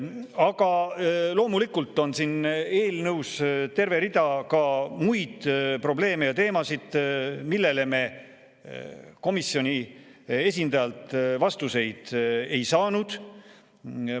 Aga loomulikult on siin eelnõus terve rida ka muid probleeme ja teemasid, millele me komisjoni esindajalt vastuseid ei saanud.